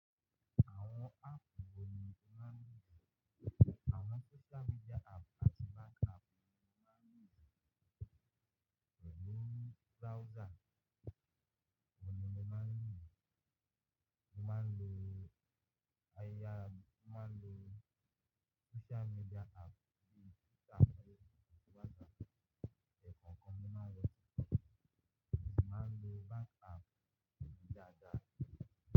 Àwọn app wọ̀ ni o máa ń lò. Àwọn social media app àti bank app ni mo máa ń lo, pelu browser wọ̀ ni mo máa ń lò. Mo máa ń lo ayẹyẹ app, mo máa ń lo social media app bíi Twitter, Facebook, WhatsApp, ẹkọ kọ́ mo máa ń lọ síbẹ̀. Mo sì máa ń lo bank app nígbàgbà.